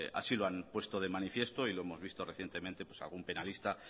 así lo han puesto de manifiesto y lo hemos visto recientemente pues algún penalista